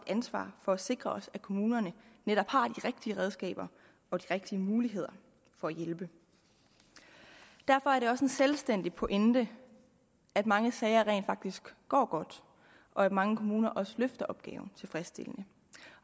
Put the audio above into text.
ansvar for at sikre at kommunerne netop har de rigtige redskaber og de rigtige muligheder for at hjælpe derfor er det også en selvstændig pointe at mange sager rent faktisk går godt og at mange kommuner også løfter opgaven tilfredsstillende